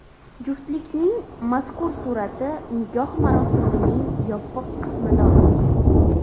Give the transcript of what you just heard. Juftlikning mazkur surati nikoh marosimining yopiq qismida olingan.